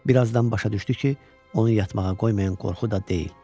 Bir azdan başa düşdü ki, onu yatmağa qoymayan qorxu da deyil.